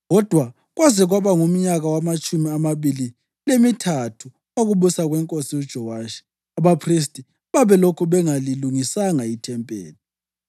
Kodwa kwaze kwaba ngumnyaka wamatshumi amabili lemithathu wokubusa kwenkosi uJowashi, abaphristi babelokhu bengalilungisanga ithempeli.